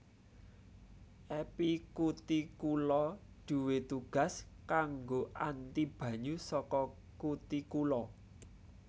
Epikutikula duwé tugas kanggo anti banyu saka kutikula